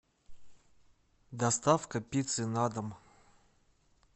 доставка пиццы на дом